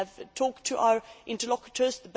We have talked to our interlocutors.